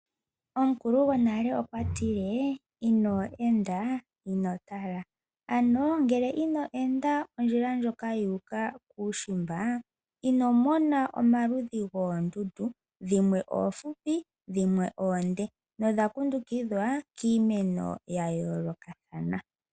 Omukulugwonale okwa tile, "ino enda, ino tala." Ano ngele ino enda ondjila ndjoka yuuka kuushimba ino mona omaludhi goondunda dhimwe oofupi, dhimwe oonde no dha kundukidhwa kiimeno ya yoolokathana.